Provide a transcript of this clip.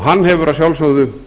hann hefur að sjálfsögðu